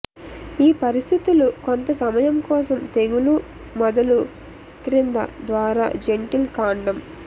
ఈ పరిస్థితులు కొంత సమయం కోసం తెగులు మొదలు క్రింద ద్వారా జెంటిల్ కాండం